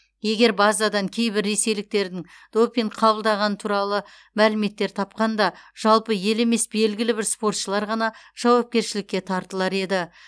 егер базадан кейбір ресейліктердің допинг қабылдағаны туралы мәліметтер тапқанда жалпы ел емес белгілі бір спортшылар ғана жауапкершілікке тартылар еді